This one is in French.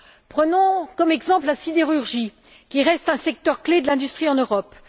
Prenons comme exemple la sidérurgie, qui reste un secteur clé de l'industrie en Europe.